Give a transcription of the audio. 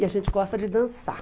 E a gente gosta de dançar.